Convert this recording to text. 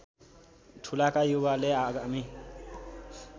ठूलाका युवाले आगामी